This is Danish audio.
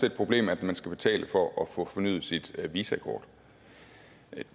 et problem at man skal betale for at få fornyet sit visakort